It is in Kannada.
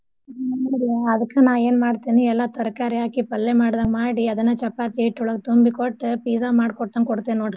ಹ್ಮ್ ನ್ ರೀ ಅದ್ಕ್ ನಾ ಏನ್ ಮಾಡ್ತೇನಿ ಎಲ್ಲಾ ತರ್ಕಾರಿ ಹಾಕಿ ಪಲ್ಲೇ ಮಾಡ್ದಾಂಗ ಮಾಡಿ ಅದನ್ನ ಚಪಾತಿ ಹಿಟ್ ಒಳ್ಗ ತುಂಬಿ ಕೊಟ್ pizza ಮಾಡ್ಕೋಟಂಗ್ ಕೊಡ್ತೇನ್ ನೋಡ್ರಿ .